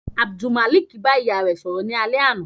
Abdulmalik ba iya rẹ sọrọ ni alẹ ana